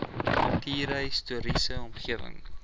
kultuurhis toriese omgewing